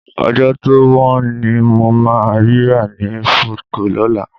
Ọjọ́ tó wọ́n ni mo máa rí rà ní Foodco lọ́la